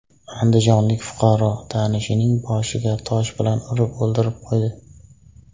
Andijonlik fuqaro tanishining boshiga tosh bilan urib, o‘ldirib qo‘ydi.